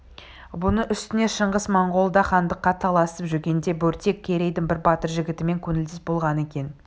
бұның үстіне шыңғыс монғолда хандыққа таласып жүргенде бөрте керейдің бір батыр жігітімен көңілдес болған екен